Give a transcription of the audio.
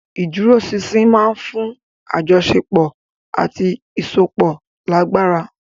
Ìdúróṣinṣin máa ń fún àjọṣepọ̀ àti ìsopọ̀ lágbára.